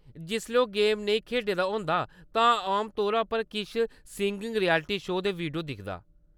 जिसलै ओह्‌‌ गेम नेईं खेढै दा होंदा तां आमतौरा पर किश सिंगिंग रियलिटी शो दे वीडियो दिखदा।